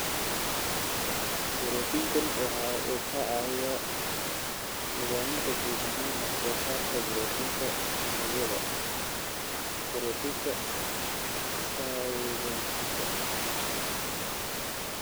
Borootiinkani waxa uu ka caawiyaa nidaaminta guud ahaan wax soo saarka borotiinka unugyada (brotenka synthesika).